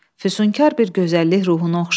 Füsunkar bir gözəllik ruhunu oxşadı.